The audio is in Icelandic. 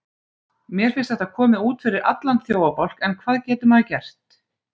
Mér finnst þetta komið út fyrir allan þjófabálk en hvað getur maður gert?